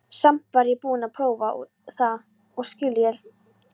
Samt var ég búin að prófa það og líka skilja.